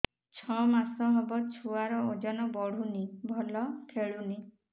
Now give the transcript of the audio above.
ଛଅ ମାସ ହବ ଛୁଆର ଓଜନ ବଢୁନି ଭଲ ଖେଳୁନି